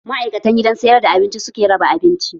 Ma'aikatan gidan sayar da abinci suke raba abinci